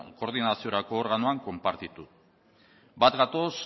koordinaziorako organoan konpartitu bat gatoz